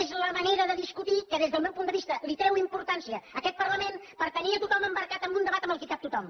és la manera de discutir que des del meu punt de vista li treu importància a aquest parlament per tenir a tothom embarcat en un debat en el qual hi cap tothom